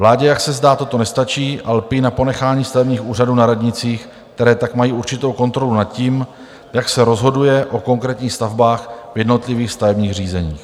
Vládě, jak se zdá, toto nestačí a lpí na ponechání stavebních úřadů na radnicích, které tak mají určitou kontrolu nad tím, jak se rozhoduje o konkrétních stavbách v jednotlivých stavebních řízeních.